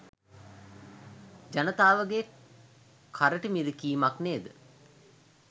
ජනතාවගේ කරටි මිරිකීමක් නේද?